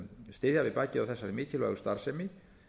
styðja við bakið á þessari mikilvægu starfsemi